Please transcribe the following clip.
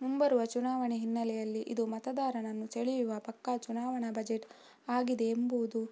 ಮುಂಬರುವ ಚುನಾವಣೆ ಹಿನ್ನೆಲೆಯಲ್ಲಿ ಇದು ಮತದಾರರನ್ನು ಸೆಳೆಯುವ ಪಕ್ಕಾ ಚುನಾವಣಾ ಬಜೆಟ್ ಆಗಿದೆ ಎಂಬುದು